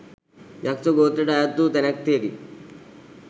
යක්‍ෂ ගෝත්‍රයට අයත් වූ තැනැත්තියකි.